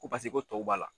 Ko paseke ko tɔw b'a la